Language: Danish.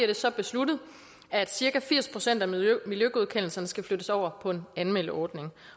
det så besluttet at cirka firs procent af miljøgodkendelserne skulle flyttes over på en anmeldeordning